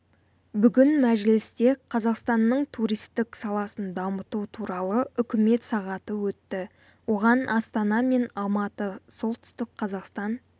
бүгін мәжілісте қазақстанның туристік саласын дамыту туралы үкімет сағаты өтті оған астана мен алматы солтүстік қазақстан